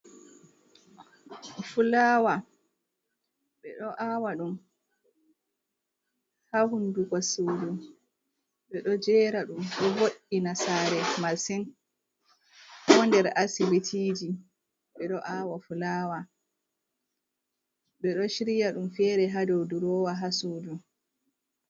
Fulawa ɓe ɗo awa ɗum ha hunkugo suudu, ɓe ɗo jera ɗum ɗo voɗina saare masin, ko nder asibitiji ɓe ɗo awa fulawa, ɓe ɗo shirya ɗum fere ha dow durowa ha suudu.